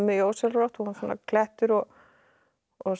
ósjálfrátt hún var svona klettur og og